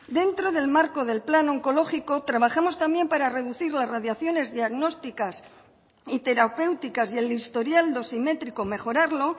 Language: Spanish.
dentro del marco del plan oncológico trabajamos también para reducir las radiaciones diagnósticas y terapéuticas y el historial dosimétrico mejorarlo